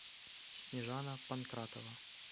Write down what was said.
снежана панкратова